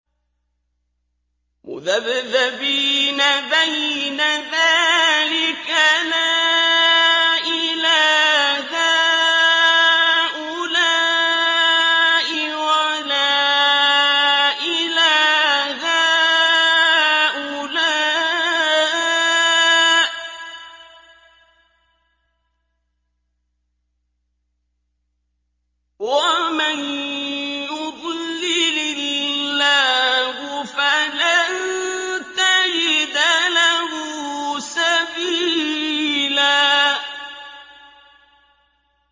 مُّذَبْذَبِينَ بَيْنَ ذَٰلِكَ لَا إِلَىٰ هَٰؤُلَاءِ وَلَا إِلَىٰ هَٰؤُلَاءِ ۚ وَمَن يُضْلِلِ اللَّهُ فَلَن تَجِدَ لَهُ سَبِيلًا